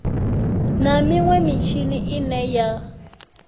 na minwe mitshini ine ya